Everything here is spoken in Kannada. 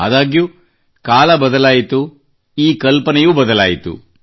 ಆದಾಗ್ಯೂ ಕಾಲ ಬದಲಾಯಿತು ಮತ್ತು ಈ ಕಲ್ಪನೆಯೂ ಬದಲಾಯಿತು